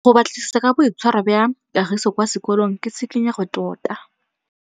Go batlisisa ka boitshwaro jwa Kagiso kwa sekolong ke tshikinyêgô tota.